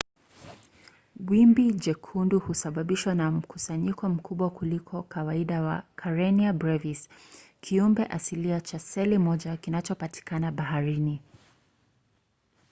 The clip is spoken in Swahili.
wimbi jekundu husababishwa na mkusanyiko mkubwa kuliko kawaida wa karenia brevis kiumbe asilia cha seli moja kinachopatikana baharini